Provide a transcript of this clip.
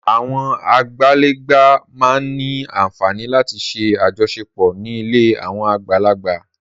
Àwọn àgbàlagbà máa ń ní àfààní láti ṣe àjọṣepọ̀ ní ilé àwọn àgbàlagbà.